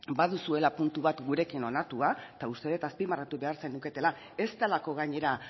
baduzuela puntu bat gurekin onartua eta uste dut azpimarratu behar zenuketela ez delako gainera